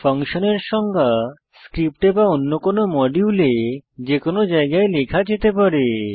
ফাংশনের সংজ্ঞা স্ক্রিপ্টে বা অন্য কোনো মডিউলে যে কোনো জায়গায় লেখা যেতে পারে